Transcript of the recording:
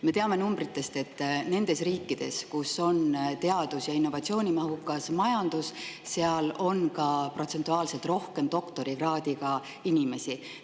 Me teame numbritest, et nendes riikides, kus on teadus- ja innovatsioonimahukas majandus, on protsentuaalselt rohkem doktorikraadiga inimesi.